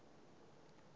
na zwine vha si zwi